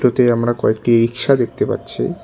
এতে আমরা কয়েকটি রিক্সা দেখতে পাচ্ছি।